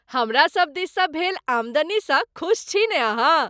हमरा सब दिससँ भेल आमदनीसँ खुश छी ने अहाँ!